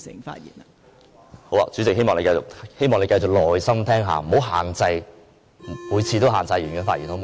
代理主席，希望你繼續耐心聆聽，不要每次也限制議員的發言，好嗎？